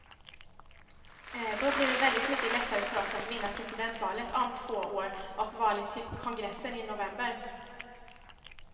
Då blir det väldigt mycket lättare för oss att vinna presidentvalet om två år och valet till kongressen i november.